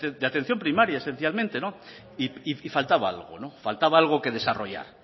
de atención primaria esencialmente y faltaba algo faltaba algo que desarrollar